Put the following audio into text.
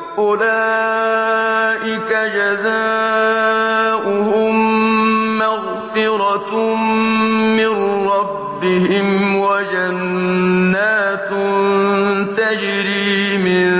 أُولَٰئِكَ جَزَاؤُهُم مَّغْفِرَةٌ مِّن رَّبِّهِمْ وَجَنَّاتٌ تَجْرِي مِن